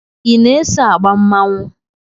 I na-eso agba mmanwụ?